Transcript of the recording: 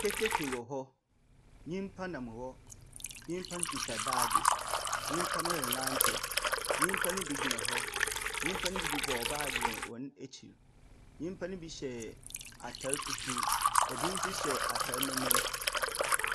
Keteke wɔ hɔ, nnipa nam hɔ, nnipa no kita baage, nnipa no renantew, nnipa no bi gyina hɔ, nnipa no bi bobɔ baage wɔ wɔn akyiri, nnipa ne bi hyɛ ataade fufuo, obi nso hyɛ ataade memin.